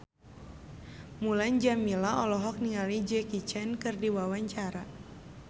Mulan Jameela olohok ningali Jackie Chan keur diwawancara